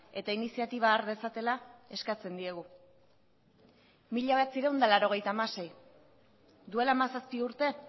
eta iniziatiba har dezatela eskatzen diegu mila bederatziehun eta laurogeita hamasei duela hamazazpi urte